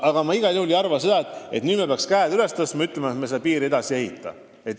Mitte mingil juhul ma ei arva, et nüüd me peaksime käed üles tõstma ja ütlema, et me seda piiri edasi ei ehita.